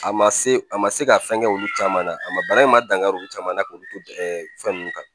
A ma se a ma se ka fɛn kɛ olu caman na a ma bana in ma dankari olu caman na k'olu to ɛ fɛn nunnu kan